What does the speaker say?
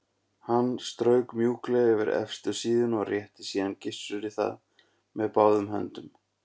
Hún strauk mjúklega yfir efstu síðuna og rétti síðan Gissuri það með báðum höndum.